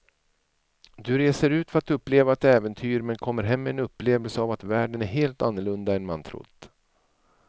Du reser ut för att uppleva ett äventyr men kommer hem med en upplevelse av att världen är helt annorlunda än man trott.